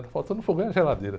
Está faltando o fogão e a geladeira.